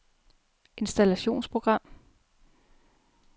installationsprogram